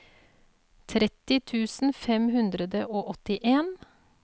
tretti tusen fem hundre og åttien